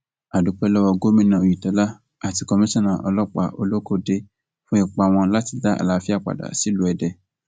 a dúpẹ lọwọ gómìnà oyetola àti komisanna ọlọpàá olókóde fún ipa wọn láti dá àlàáfíà padà sílùú èdè